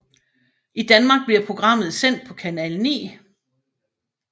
I Danmark bliver programmet sendt på Canal 9